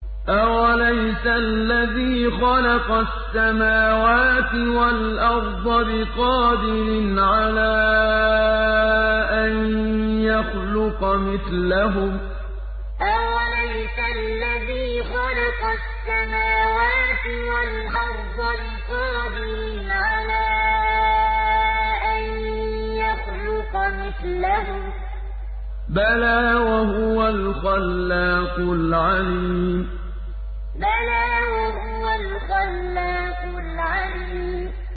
أَوَلَيْسَ الَّذِي خَلَقَ السَّمَاوَاتِ وَالْأَرْضَ بِقَادِرٍ عَلَىٰ أَن يَخْلُقَ مِثْلَهُم ۚ بَلَىٰ وَهُوَ الْخَلَّاقُ الْعَلِيمُ أَوَلَيْسَ الَّذِي خَلَقَ السَّمَاوَاتِ وَالْأَرْضَ بِقَادِرٍ عَلَىٰ أَن يَخْلُقَ مِثْلَهُم ۚ بَلَىٰ وَهُوَ الْخَلَّاقُ الْعَلِيمُ